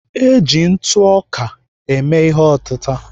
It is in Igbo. Eji ntụ ọka eme ihe otịta.